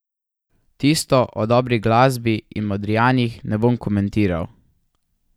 Tisto o dobri glasbi in Modrijanih ne bom komentiral.